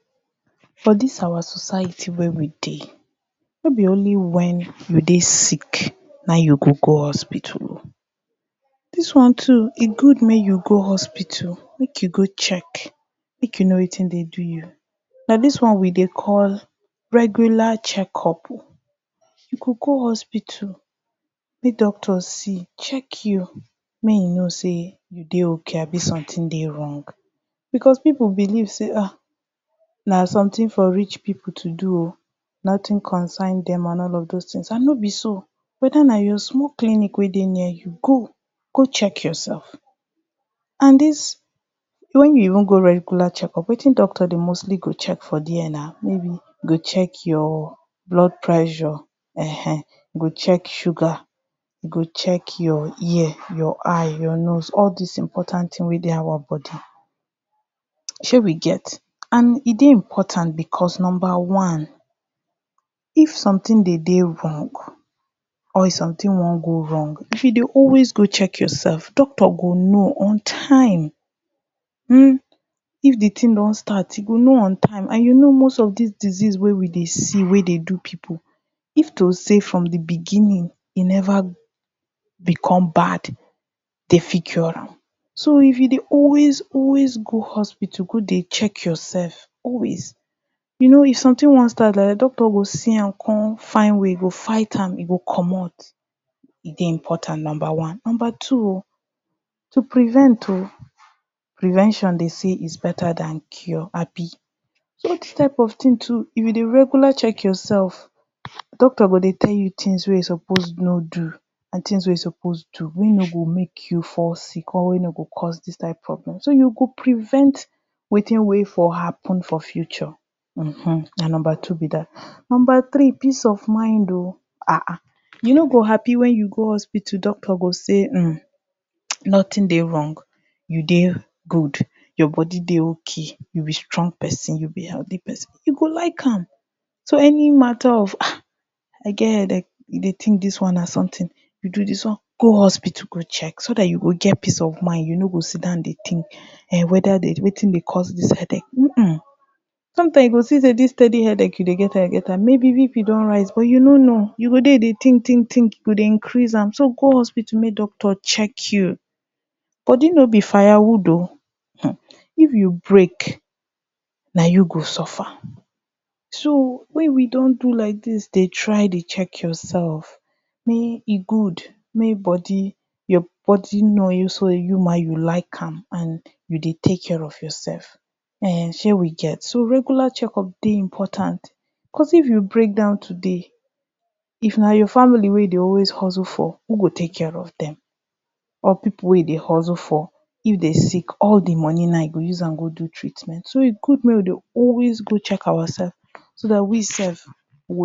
For this picture so, this place be like place wey tins dey really really happen plenty plenty, place wey go busy, cos e look like place wey dey sell market, this bag and boxes wey dey on top of this concrete wey separate di road from di place wey dem dey waka, dis bag and dis boxes dry look like something wey good dey inside and good dey inside even di houses wey dey now dem look like place wey dem dey store tins e bi like store and store room for people wey dey sell tins for people wey dey buy tins for big big quantity, even di cars wey dry outside, na something wey día tins say dem go con carry dis guds carry am go wia e suppose carry am go cos this environment e bi like say na market placet, bí like place wey dem dey sell market, place where dem dey carry guds from one place di other. The environment dey talk say make, dey say dis place dey really busy and dis bag and box wey e dey dis um concrete for road so is that women dey sell, na women dey sell for dis place, dey just dey tell us us people dey sell for dis place and one tin dey interesting na how dem dry stack dis bag and dis tins for dis place and people no dey even look am, people no dey even bother themselves how dis tin dry on top road and this kind tin dry always happen for places wey dem dey struggle with money cos if dem get correct money and infrastructure dis kind tin no go happen for good environment. Picture dey show say di resourcefulness of di people, di hard work of di people wey dey live for di place dem dey find ways to see how dem fit use wetin dem get wetin dem want so people dey find way to survive na why dem dey sell something like dis for road even for road dem dey keep día good wey dey cost dem money, people dey find way to survive, di area dry busy, very busy and commercial because say na place wey dem dey sell something and people dey use dis barrier as store space and dey use dis um place for road, dis concrete wey dey divide road from di place wey people dey waka, ẹ use dis place as storage, e use am keep tins, dis kind tin no really good for environment so na wetin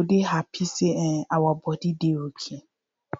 dey happen for dis picture so ni dat